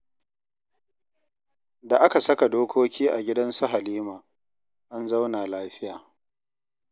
Da aka saka dokoki a gidansu Halima, an zauna lafiya